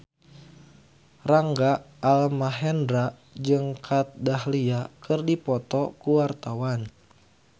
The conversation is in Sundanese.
Rangga Almahendra jeung Kat Dahlia keur dipoto ku wartawan